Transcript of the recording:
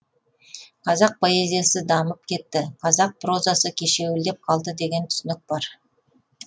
қазақ поэзиясы дамып кетті қазақ прозасы кешеуілдеп қалды деген түсінік бар